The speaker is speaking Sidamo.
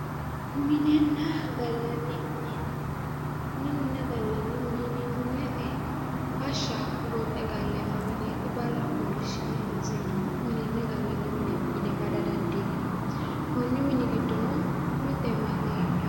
Minenna gallanni mine yinanni woyte barra barra fooliishhsi'ne honseemowaati barra gonxe galleemmowaati yine bada dandiinanni, konni mini giddono mitte naate heedhanno